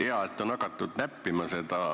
Hea, et on hakatud seda näppima.